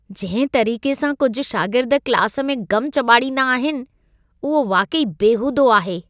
जंहिं तरीक़े सां कुझु शागिर्द क्लास में गम चॿाड़ींदा आहिनि, उहो वाक़ई बेहूदो आहे!